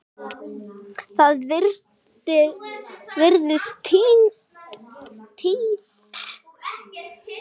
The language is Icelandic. Það virðist liðin tíð.